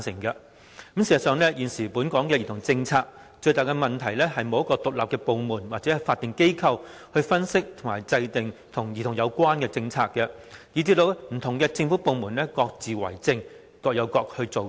事實上，現時本港兒童政策最大的問題，是沒有一個獨立部門或法定機構負責分析及制訂與兒童有關的政策，以致不同政府部門各自為政，各有各做。